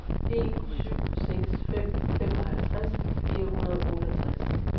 en syv seks fem femoghalvtreds fire hundrede og otteogtres